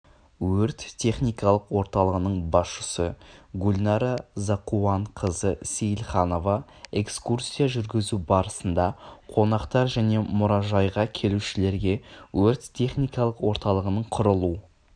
өрт-техникалық орталығының басшысы гульнара зақуанқызы сейілханова экскурсия жүргізу барысында қонақтар және мұражайға келушілерге өрт-техникалық орталығының құрылу